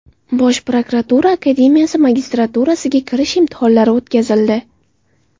Bosh prokuratura akademiyasi magistraturasiga kirish imtihonlari o‘tkazildi.